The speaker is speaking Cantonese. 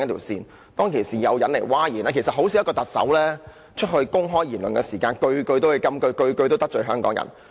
事實上，一名特首發表的公開言論，很少每一句也是金句，每一句也得罪香港人。